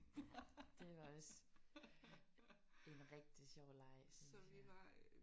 Ja det var også en rigtig sjov leg synes jeg